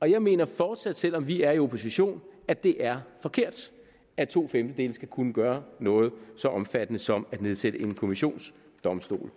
og jeg mener fortsat selv om vi er i opposition at det er forkert at to femtedele skal kunne gøre noget så omfattende som at nedsætte en kommissionsdomstol